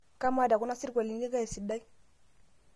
kamaa tokuna sirwalini kaa sidai